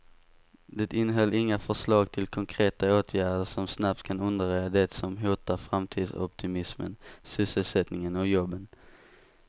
Det innehöll inga förslag till konkreta åtgärder som snabbt kan undanröja det som hotar framtidsoptimismen, sysselsättningen och jobben.